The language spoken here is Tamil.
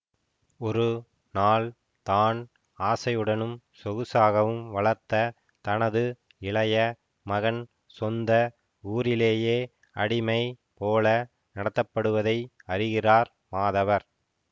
ஒரு நாள் தான் ஆசையுடனும் சொகுசாகவும் வளர்த்த தனது இளைய மகன் சொந்த ஊரிலேயே அடிமை போல நடத்தப்படுவதை அறிகிறார் மாதவர்